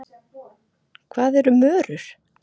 Hvað eru mörur?